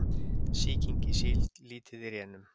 Sýking í síld lítið í rénun